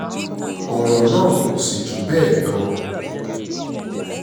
ọ̀rọ̀ náà kò sì jù bẹ́ẹ̀ lọ